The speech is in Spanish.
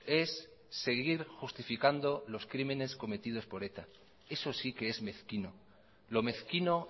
es seguir justificando los crímenes cometidos por eta eso si qué es mezquino lo mezquino